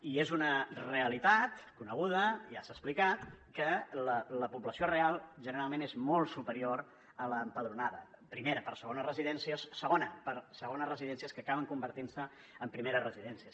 i és una realitat coneguda ja s’ha explicat que la població real generalment és molt superior a l’empadronada primera per segones residències segona per segones residències que acaben convertint se en primeres residències